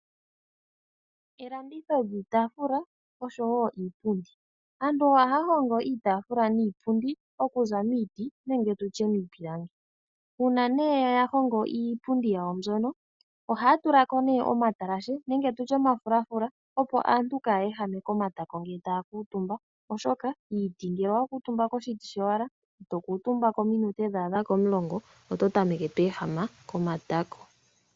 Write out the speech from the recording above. Elanditho lyiitaafula oshowo iipundi, aantu ohaya hongo iitaafula niinpundi oku za miiti nenge tutye iipilangi uuna nee ya hongo iipundi yayo mbyono ohaya tulako nee omatalashe nenge tutye omafulafula opo aantu kaya ehame komatako ngele taya kuutumba oshoka kiiti ngele owa kuutumba koshiti showala ito kuutumbako ominute dha adha komulongo oto tameke to ehama komatako